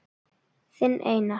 Þinn Einar.